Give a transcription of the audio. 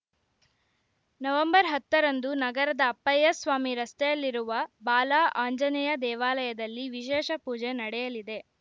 November ಹತ್ತರಂದು ನಗರದ ಅಪ್ಪಯ್ಯ ಸ್ವಾಮಿ ರಸ್ತೆಯಲ್ಲಿರುವ ಬಾಲಾ ಅಂಜನೇಯ ದೇವಾಲಯದಲ್ಲಿ ವಿಶೇಷ ಪೂಜೆ ನಡೆಯಲಿದೆ